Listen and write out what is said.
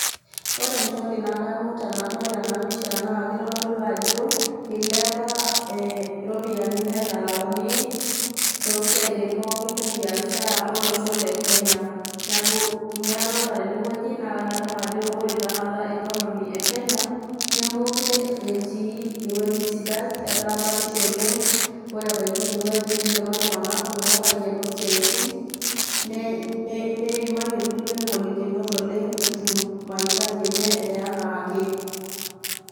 ore entoki nadamu tenadol ena pisha naa keitodolu ajo eilepa irropiyiani naitalakuni too siaitin pookin e biashara olosho le Kenya neaku ninye adolita tene wueji naa kadamu ajo ore tena kata economy e Kenya nemeekure etii ewueji sidai etaa batisho oleng, ore ebaiki ine wueji neidipa iltunganak kumok aikeno isiatin, neimaitie ilkulie inkolikinot oleng etum mahitaji enye e enaake.